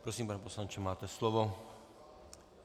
Prosím, pane poslanče, máte slovo.